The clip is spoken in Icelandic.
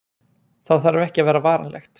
það þarf ekki að vera varanlegt